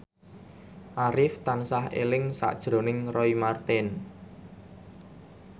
Arif tansah eling sakjroning Roy Marten